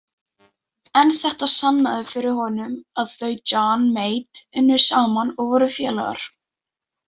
En þetta sannaði fyrir honum að þau Johnny Mate unnu saman og voru félagar.